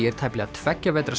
er tæplega tveggja vetra